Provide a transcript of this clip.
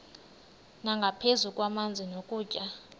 nangaphezu kwamanzi nokutya